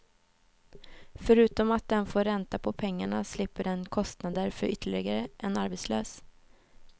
Förutom att den får ränta på pengarna, slipper den kostnader för ytterligare en arbetslös.